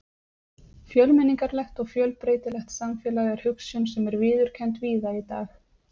Fjölmenningarlegt og fjölbreytilegt samfélag er hugsjón sem er viðurkennd víða í dag.